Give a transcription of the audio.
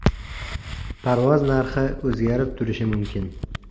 Parvoz narxi o‘zgarib turishi mumkin.